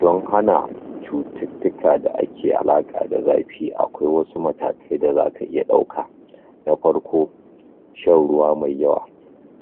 Don hana cututtuka da ake yi dake alaƙa da zafi akwai wasu matakai da zaka iya ɗauka na farko shan ruwa mai yawa